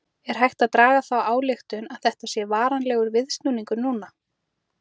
Er hægt að draga þá ályktun að þetta sé varanlegur viðsnúningur núna?